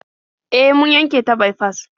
E, mun yanke ta baifas.